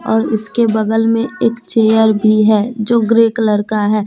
और इसके बगल में एक चेयर भी है जो ग्रे कलर का है।